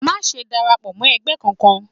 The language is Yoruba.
Maṣe dárápọ mọ ẹgbẹ kánkan!